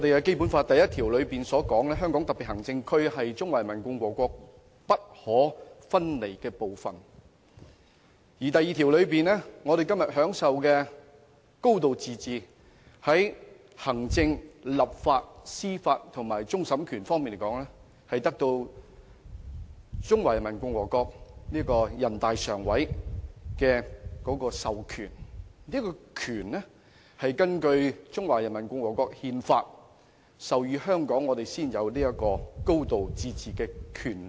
《基本法》第一條訂明：香港特別行政區是中華人民共和國不可分離的部分；《基本法》第二條又規定，我們今天享有"高度自治"，在行政、立法、司法和終審方面的權力，都是由全國人民代表大會常務委員會所授予，而這些權力是根據《中華人民共和國憲法》授予香港，我們才有"高度自治"的權力。